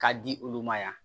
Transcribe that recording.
K'a di olu ma yan